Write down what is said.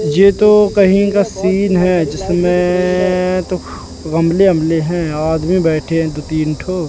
ये तो कहीं का सीन है जिसमें तो गमले वमले हैं आदमी बैठे हैं दो तीन ठो--